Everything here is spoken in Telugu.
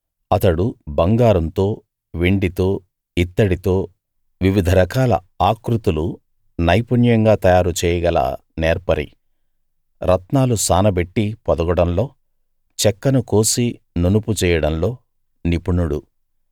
అతడు బంగారంతో వెండితో ఇత్తడితో వివిధ రకాల ఆకృతులు నైపుణ్యంగా తయారు చేయగల నేర్పరి రత్నాలు సానబెట్టి పొదగడంలో చెక్కను కోసి నునుపు చేయడంలో నిపుణుడు